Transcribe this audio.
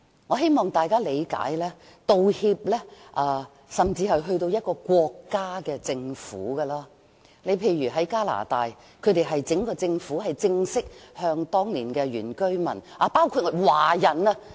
我希望大家理解，道歉甚至可以提升至國家政府的層次，例如加拿大，整個政府正式向當年的原居民及華人道歉。